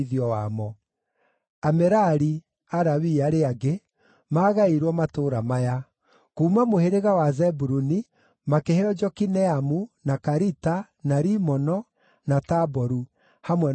Amerari (Alawii arĩa angĩ) maagaĩirwo matũũra maya: Kuuma mũhĩrĩga wa Zebuluni makĩheo Jokineamu, na Karita, na Rimono, na Taboru, hamwe na ũrĩithio wamo;